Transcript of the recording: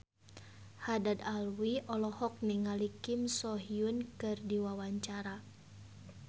Haddad Alwi olohok ningali Kim So Hyun keur diwawancara